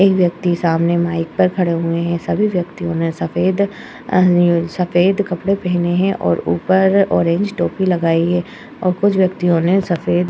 एक व्यक्ति सामने माइक पर खड़े हुये हैं। सभी व्यक्तियों ने सफेद अ सफेद कपड़े पहने हैं और ऊपर ऑरेंज टोपी लगाए और कुछ व्यक्तियों ने सफेद --